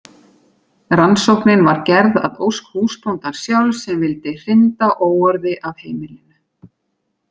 Rannsóknin var gerð að ósk húsbóndans sjálfs sem vildi hrinda óorði af heimilinu.